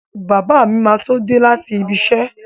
Bàbá mi máa tó dé láti ibiṣẹ́.